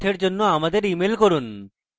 বিস্তারিত তথ্যের জন্য আমাদের ইমেল করুন